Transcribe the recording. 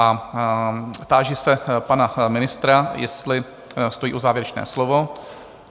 A táži se pana ministra, jestli stojí o závěrečné slovo?